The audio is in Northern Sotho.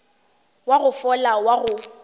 wa go fola wa go